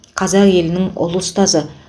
қазақ елінің ұлы ұстазы